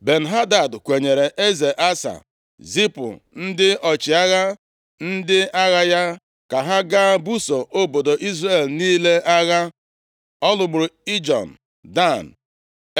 Ben-Hadad kwenyere eze Asa, zipụ ndị ọchịagha ndị agha ya ka ha gaa buso obodo Izrel niile agha. Ọ lụgburu Ijon, Dan,